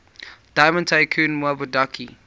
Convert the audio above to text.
diamond tycoon nwabudike